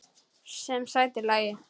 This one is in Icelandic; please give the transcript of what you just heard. Sem sætir lagi.